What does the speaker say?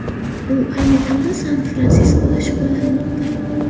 U ayni damda San-Fransiskoda shug‘ullanmoqda.